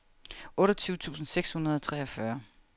otteogtyve tusind seks hundrede og treogfyrre